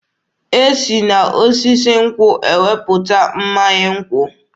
E si mmanya nkwụ n'osisi nkwụ.